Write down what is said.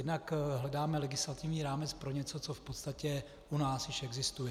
Jednak hledáme legislativní rámec pro něco, co v podstatě u nás již existuje.